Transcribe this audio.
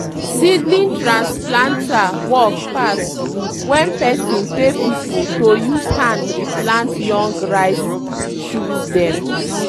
seedling trans planter work pass when person pay pipu to use hand re plant young rice shoot dem.